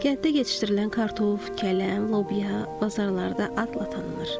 Kənddə yetişdirilən kartof, kələm, lobya bazarlarda adla tanınır.